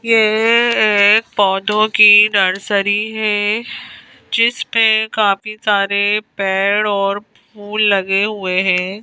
ये एक पौधों की नर्सरी है जिसपे काफी सारे पेड़ और फूल लगे हुए है।